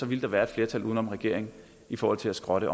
ville der være et flertal uden om regeringen i forhold til at skrotte